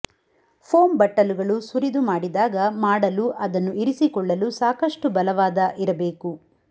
foam ಬಟ್ಟಲುಗಳು ಸುರಿದು ಮಾಡಿದಾಗ ಮಾಡಲು ಅದನ್ನು ಇರಿಸಿಕೊಳ್ಳಲು ಸಾಕಷ್ಟು ಬಲವಾದ ಇರಬೇಕು